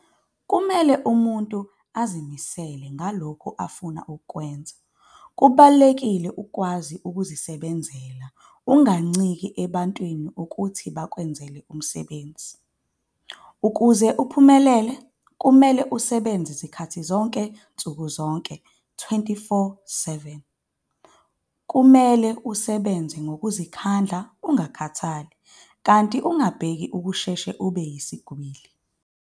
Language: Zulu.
Kumele umuntu azimisele ngalokhu afuna ukukwenza. Kubalulekile ukukwazi ukuzenzela umsebenzi unganciki ebantwini ukuthi bakwenzele umsebenzi. Ukuze uphumelele kumele usebenze zikhathi zonke nsuku zonke 24,7. Kumele usebenze ngokuzikhandla ungakhathali, kanti ungabheki ukusheshe ube yisigwili.